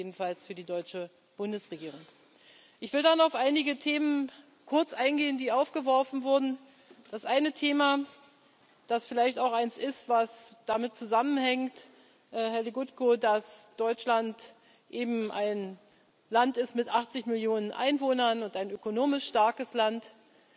Ich sage das jedenfalls für die deutsche Bundesregierung. Ich will dann auf einige Themen kurz eingehen, die aufgeworfen wurden. Das eine Thema, das vielleicht auch eins ist, das damit zusammenhängt, Herr Legutko, dass Deutschland eben ein Land mit 80 Millionen Einwohnern und ein ökonomisch starkes Land